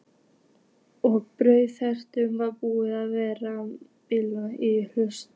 Og brunavarnarkerfið var búið að vera bilað í allt haust.